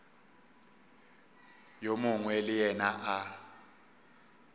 yo mongwe le yena a